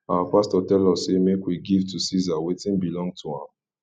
our pastor tell us say make we give to ceasar wetin belong to am